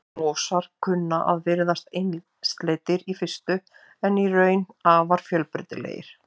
mosar kunna að virðast einsleitir í fyrstu en eru í raun afar fjölbreytilegir